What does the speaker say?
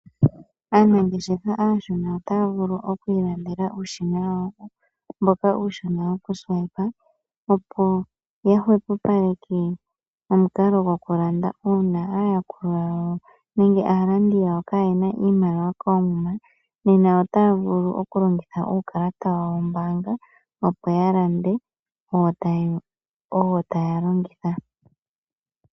Anangeshefa ashona ota vulu okwilandela ushina wowo mboka ushona woku siwape opo yahuhupaleke omunkalo nokulanda una aayakulwa yawo nenge aalandi yawo kayena iimaliwa komuma nena ota vulu okulongitha uukalata wawo woombanga opo yalande owo talongitha.